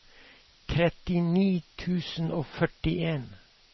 trettini tusen og førtien